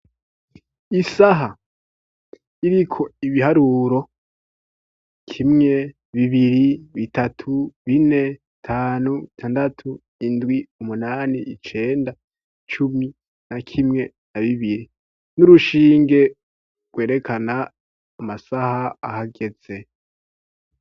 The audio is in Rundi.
Isaha iriko ibiharuro kimwe, bibiri, bitatu, bine, bitanu, bitandatu, indwi, umunani, icenda, cumi na kimwe na bibiri n'urushinge rwerekana amasaha ahageze.